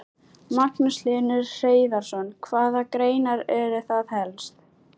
Magnús Hlynur Hreiðarsson: Hvaða greinar eru það helst?